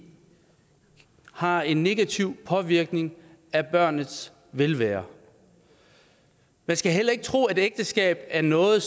har en negativ påvirkning af barnets velvære man skal heller ikke tro at det ægteskab er noget